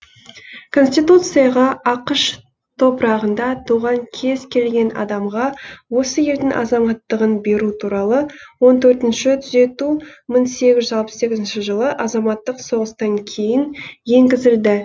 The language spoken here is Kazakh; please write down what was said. конституцияға ақш топырағында туған кез келген адамға осы елдің азаматтығын беру туралы он төртінші түзету мың сегіз жүз алпыс сегізінші жылы азаматтық соғыстан кейін енгізілді